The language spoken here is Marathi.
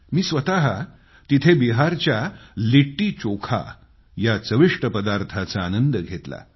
मी स्वतः तिथं बिहारच्या लिट्टीचोखा या चविष्ट पदार्थाचा आनंद घेतला